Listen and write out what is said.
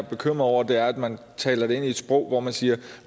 er bekymret over er at man taler det ind i et sprog hvor man siger at